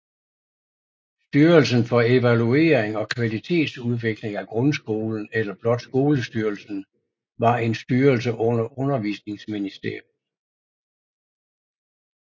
Styrelsen for Evaluering og Kvalitetsudvikling af Grundskolen eller blot Skolestyrelsen var en styrelse under Undervisningsministeriet